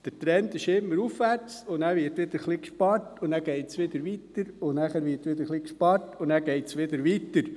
Der Trend ist immer aufwärts, danach wird wieder ein bisschen gespart, und dann geht es wieder weiter, danach wird wieder ein bisschen gespart und dann geht es wieder weiter.